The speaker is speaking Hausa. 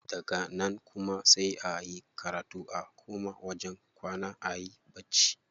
Daga nan kuma sai a yi karatu a koma wajen kwana ayi bacci.